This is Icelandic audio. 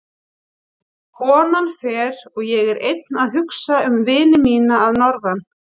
Konan fer og ég er einn að hugsa um vini mína að norðan.